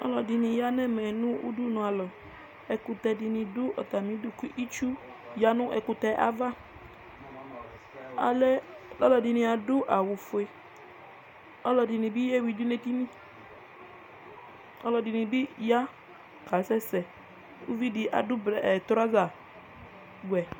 alʊɛɗɩnɩ aƴa nʊ ʊɗʊnʊalɔ ɛƙʊtɛnɩ ɗʊ ɛƒʊɛ ɩtsʊ ɓɩɗʊ ɛƒʊɛ alʊɛɗɩnɩaɗʊ awʊ oƒʊe alʊɛɗɩnɩɓɩ aƙeƴʊɩ eɗɩnɩ ɛɗɩnɩɓɩ aƙasɛsɛ alʊɛɗɩnɩ ta ɗʊ ʊgo ɔwɛ